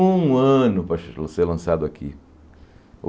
Um ano para che ser lançado aqui.